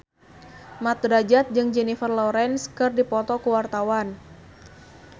Mat Drajat jeung Jennifer Lawrence keur dipoto ku wartawan